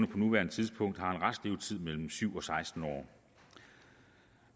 på nuværende tidspunkt har en restlevetid mellem syv og seksten år